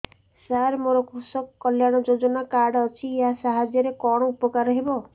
ସାର ମୋର କୃଷକ କଲ୍ୟାଣ ଯୋଜନା କାର୍ଡ ଅଛି ୟା ସାହାଯ୍ୟ ରେ କଣ ଉପକାର ହେବ